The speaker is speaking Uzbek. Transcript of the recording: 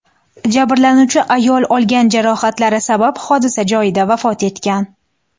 Jabrlanuvchi ayol olgan jarohatlari sabab hodisa joyida vafot etgan.